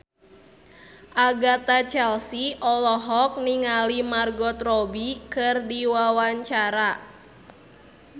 Agatha Chelsea olohok ningali Margot Robbie keur diwawancara